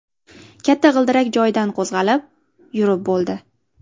Katta g‘ildirak joyidan qo‘zg‘alib, yurib bo‘ldi.